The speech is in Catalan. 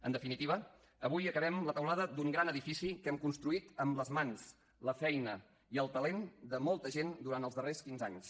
en definitiva avui acabem la teulada d’un gran edifici que hem construït amb les mans la feina i el talent de molta gent durant els darrers quinze anys